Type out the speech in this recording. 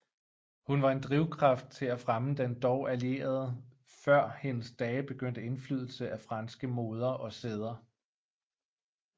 Hun var en drivkraft til at fremme den dog allerede før hendes dage begyndte indflydelse af franske moder og sæder